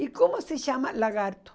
E como se chama lagarto?